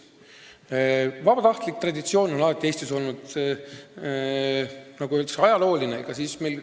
Vabatahtliku päästetöö traditsioon on alati Eestis olnud, see on, nagu öeldakse, ajalooline.